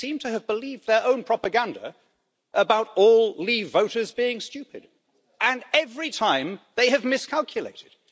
They seem to have believed their own propaganda about all Leave voters being stupid. And every time they have miscalculated.